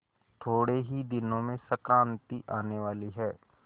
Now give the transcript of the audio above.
थोड़े ही दिनों में संक्रांति आने वाली है